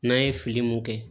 N'an ye fili mun kɛ